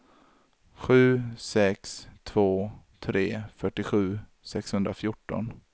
sju sex två tre fyrtiosju sexhundrafjorton